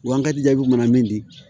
Wa an ka jaabiw mana min di